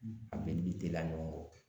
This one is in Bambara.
A bɛɛ bi teliya ɲɔgɔn kɔ